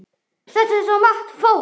Þetta er svo margt fólk.